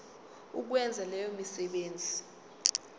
ukwenza leyo misebenzi